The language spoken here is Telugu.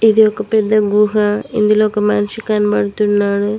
ఇది ఒక పెద్ద గుహ ఇందులో ఒక మనిషి కనబడుతున్నాడు.